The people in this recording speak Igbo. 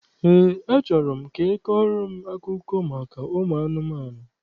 Eé, achọrọ m ka ị kọọrọ m akụkọ maka ụmụ anụmanụ.